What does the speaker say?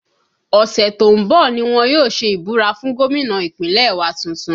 Ọ̀sẹ̀ tó ń bọ̀ ni wọ́n yóò ṣe ìbúra fún gómìnà Ìpínlẹ̀ wa tuntun